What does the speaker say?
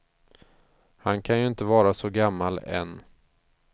Han kan ju inte vara så gammal än.